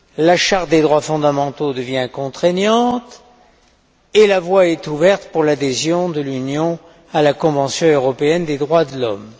La charte des droits fondamentaux devient contraignante et la voie est ouverte pour l'adhésion de l'Union à la convention européenne des droits de l'homme.